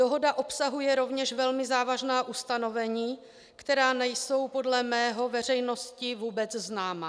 Dohoda obsahuje rovněž velmi závažná ustanovení, která nejsou podle mého veřejnosti vůbec známa.